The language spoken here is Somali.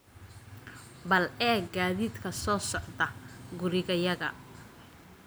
bal eeg gaadiidka soo socda gurigayaga